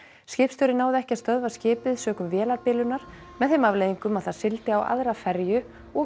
skipstjóri náði ekki að stöðva skipið sökum vélarbilunar með þeim afleiðingum að það sigldi á aðra ferju og